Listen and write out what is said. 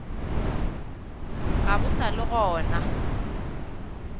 ga bo sa le gona